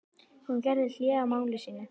Hún gerði hlé á máli sínu.